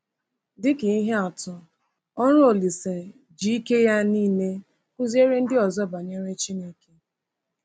Dịka ihe atụ, ọrụ Olise ji ike ya niile kụziere ndị ọzọ banyere Chineke.